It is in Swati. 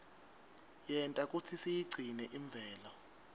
yenta kutsi siyigcine imvelo